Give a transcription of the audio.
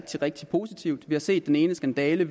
rigtig positivt vi har set den ene skandale